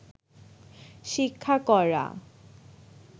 শিক্ষা করা